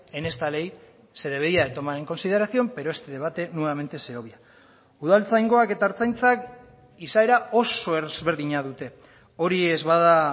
en esta ley se debería de tomar en consideración pero este debate nuevamente se obvia udaltzaingoak eta ertzaintzak izaera oso ezberdina dute hori ez bada